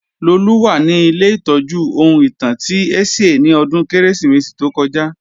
Lolú wà ní ilé ìtọ́jú ohun ìtàn ti Ẹ̀sìẹ́ ni ọdún Kérésìmesì tó kọjá